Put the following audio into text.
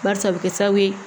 Barisa a bɛ kɛ sababu ye